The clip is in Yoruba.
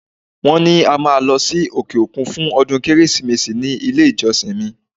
Wọ́n ní a máa lọ sí òkè-òkun fún ọdún Kérésìmesì ní ilé-ìjọsìn mi.